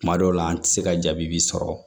Kuma dɔw la an ti se ka jaabi bi sɔrɔ